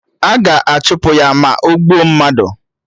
A ga-achụpụ ya, ma ogbuo mmadụ